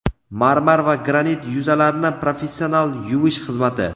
marmar va granit yuzalarni professional yuvish xizmati.